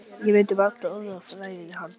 Ég mundi varla orð af ræðunni hans.